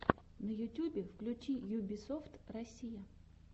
на ютюбе включи юбисофт россия